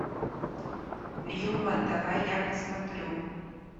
юма давай я посмотрю